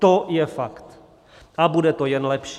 To je fakt a bude to jen lepší.